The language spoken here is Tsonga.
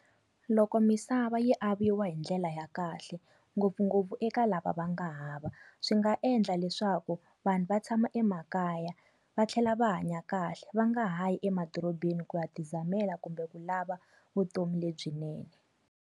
Loko misava yi aviwa hi ndlela ya kahle ngopfungopfu eka lava va nga hava, swi nga endla leswaku vanhu va tshama emakaya, va tlhela va hanya kahle va nga ha yi emadorobeni ku ya ti zamela kumbe ku lava vutomi lebyinene.